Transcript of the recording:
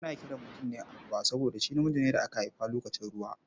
An kira mutum Aruwa ne saboda shi namiji ne da aka haifa lokacin ruwa.